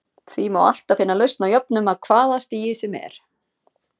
Því má alltaf finna lausn á jöfnum af hvaða stigi sem er.